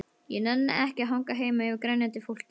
Ég nenni ekki að hanga heima yfir grenjandi fólki.